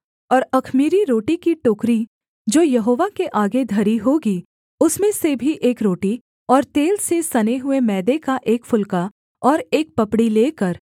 और अख़मीरी रोटी की टोकरी जो यहोवा के आगे धरी होगी उसमें से भी एक रोटी और तेल से सने हुए मैदे का एक फुलका और एक पपड़ी लेकर